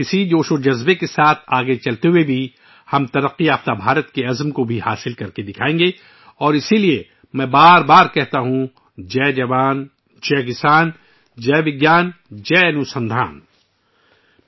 اس جوش و جذبے کے ساتھ آگے بڑھتے ہوئے، ہم ایک ترقی یافتہ بھارت کے خواب کو حاصل کریں گے اور اسی لیے میں بار بار کہتا ہوں، ' جے جوانجے کسان '،' جے وگیانجے انوسندھان '